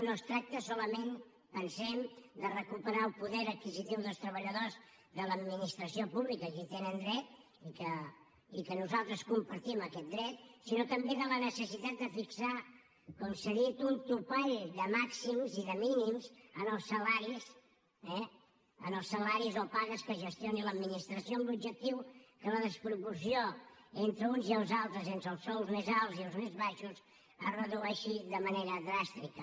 no es tracta solament pensem de recuperar el poder adquisitiu dels treballadors de l’administració pública que hi tenen dret i que nosaltres compartim aquest dret sinó també de la necessitat de fixar com s’ha dit un topall de màxims i de mínims en els salaris eh o pagues que gestioni l’administració amb l’objectiu que la desproporció entre els uns i els altres entre els sous més alts i els més baixos es redueixi de manera dràstica